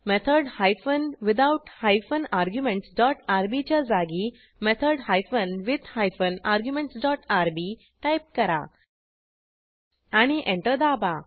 method hyphen without hyphen arguments dot RB च्या जागी method hyphen with hyphen arguments dot RB type करा आणि enter दाबा